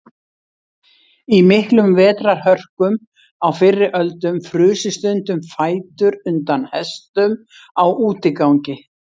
Í miklum vetrarhörkum á fyrri öldum frusu stundum fætur undan hestum á útigangi.